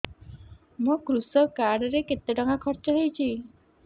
ମୋ କୃଷକ କାର୍ଡ ରେ କେତେ ଟଙ୍କା ଖର୍ଚ୍ଚ ହେଇଚି